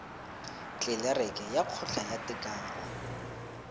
tlelereke ya kgotla ya tekano